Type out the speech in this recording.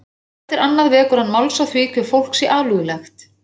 Hvað eftir annað vekur hann máls á því hve fólk sé alúðlegt